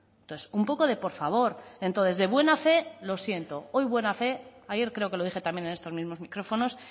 entonces un poco de por favor entonces de buena fe lo siento hoy buena fe ayer creo que lo dije también en estos mismos micrófonos